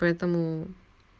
поэтому